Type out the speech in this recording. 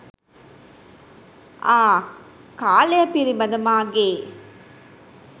ආ කාලය පිළිබඳ මාගේ